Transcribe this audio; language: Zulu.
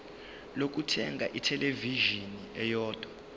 lokuthenga ithelevishini eyodwa